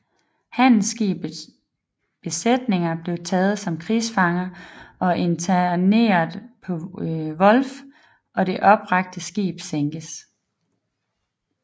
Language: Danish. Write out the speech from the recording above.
Handelsskibenes besætninger blev taget som krigsfanger og interneret på Wolf og det opbragte skib sænket